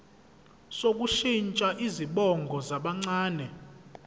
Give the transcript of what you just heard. sokushintsha izibongo zabancane